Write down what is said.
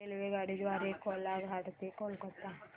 रेल्वेगाडी द्वारे कोलाघाट ते कोलकता